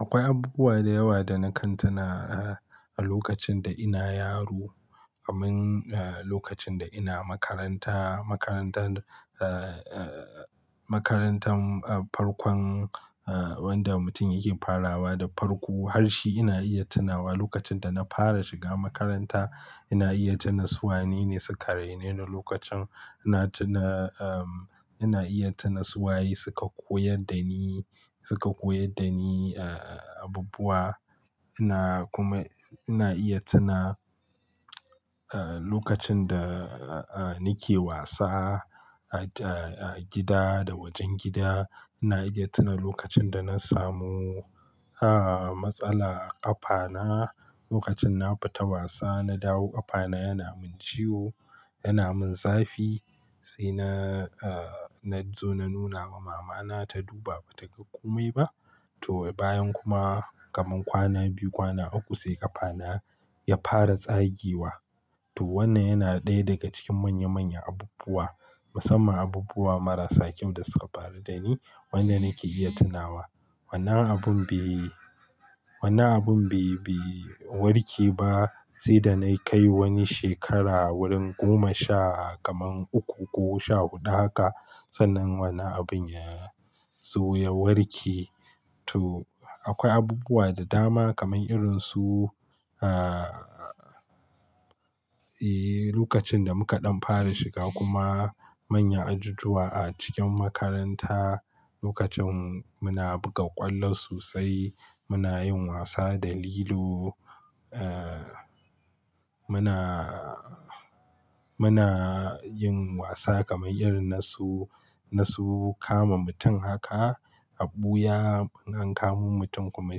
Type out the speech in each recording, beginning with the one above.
Akwai abubuwa da yawa da na kantana a lokacin da ina yaro, kamar lokacin da ina makaranta. Makarantar, eh, makarantan farkon wanda mutum yake farawa da farko. Harshi ina iya tunawa lokacin da na fara shiga makaranta, ina iya tuna su wane ne suka raine ni lokacin. Ina tuna, eh, ina iya tuna su waye suka koyar da ni, suka koyar da ni abubuwa. Ina kuma, ina iya tuna lokacin da nake wasa a gida da wajen gida. Ina iya tuna lokacin da na samu matsala a ƙafana lokacin na fita wasa. Na dawo ƙafana yana min ciwo, yana min zafi sai na, na zo na nuna wa mamana ta duba ba taga komai ba. To, bayan kuma kamar kwana biyu, kwana uku sai ƙafana ya fara tsagewa. To, wannan yana ɗaya daga cikin manya, manyan abubuwa, musamman abubuwa marasa kyau da suka faru da ni wanda nake iya tunawa. Wannan abun bai, wannan abun bai bai warke ba sai da na kai wani shekara wurin goma sha kamar uku ko sha huɗu haka sannan wannan abun ya zo ya warke. To, akwai abubuwa da dama kamar irin su, eh, lokacin da muka ɗan fara shiga kuma manyan ajujuwa a cikin makaranta. Lokacin muna buga ƙwallo sosai, muna yin wasa da lilo, eh, muna, muna yin wasa kamar irin na su, na su kama mutum haka. Aɓuya an kamo mutum kuma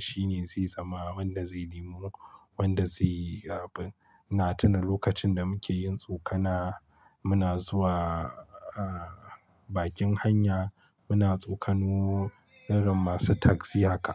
shine zai zama wanda zai nemo wanda zaiyi abun. Ina tuna lokacin da muke yin tsokana, muna zuwa bakin hanya muna tsokano irin masu takzi haka.